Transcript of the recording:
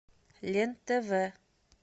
лен тв